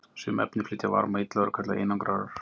Sum efni flytja varma illa og eru kölluð einangrarar.